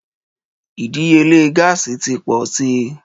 Ìdíyelé gáàsì ti pọ̀ sí i.